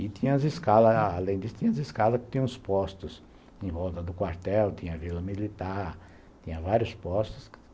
E tinha as escalas, além disso, tinha os postos em volta do quartel, tinha a vila militar, tinha vários postos.